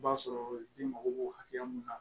I b'a sɔrɔ ji mago b'o hakɛ mun na